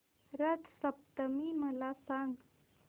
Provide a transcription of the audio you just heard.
रथ सप्तमी मला सांग